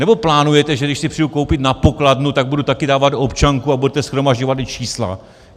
Nebo plánujete, že když si přijdu koupit na pokladnu, tak budu taky dávat občanku a budete shromažďovat i čísla?